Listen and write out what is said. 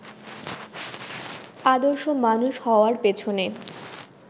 আদর্শ মানুষ হওয়ার পেছনে